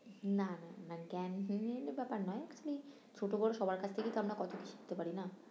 না না না ব্যাপার না খালি ছোটো করে সবার কাছ থেকেই আমরা কত কী শিখতে পারি না।